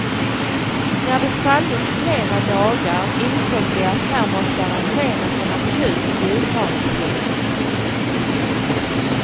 När de fallit flera dagar insåg vi att här måste arrangeras en akut julgransplundring.